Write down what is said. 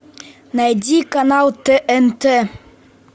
найди канал тнт